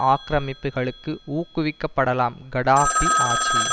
ஆக்கிரமிப்புக்களுக்கு ஊக்குவிக்கப்படலாம் கடாப்பி ஆட்சி